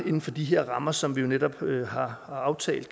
inden for de her rammer som vi jo netop har aftalt